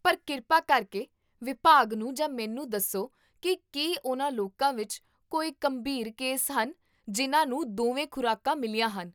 ਪਰ ਕਿਰਪਾ ਕਰਕੇ ਵਿਭਾਗ ਨੂੰ ਜਾਂ ਮੈਨੂੰ ਦੱਸੋ ਕੀ ਕੀ ਉਹਨਾਂ ਲੋਕਾਂ ਵਿੱਚ ਕੋਈ ਗੰਭੀਰ ਕੇਸ ਹਨ ਜਿਨ੍ਹਾਂ ਨੂੰ ਦੋਵੇਂ ਖੁਰਾਕਾਂ ਮਿਲੀਆਂ ਹਨ